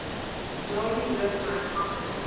daardie hoofhek agter